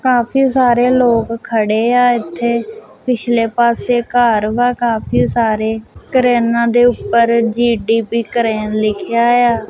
ਕਾਫੀ ਸਾਰੇ ਲੋਕ ਖੜੇ ਆ ਇੱਥੇ ਪਿਛਲੇ ਪਾਸੇ ਘਰ ਵਾ ਕਾਫੀ ਸਾਰੇ ਕਰੇਨਾਂ ਦੇ ਉੱਪਰ ਜੀਟੀਪੀ ਕਰਨ ਲਿਖਿਆ ਆ।